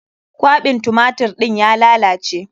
Kwaɓin tumatir ɗin ya lalace.